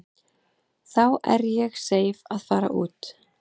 Þá er ég seif að fara út.